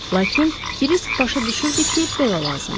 Lakin Kirisk başa düşürdü ki, belə lazımdır.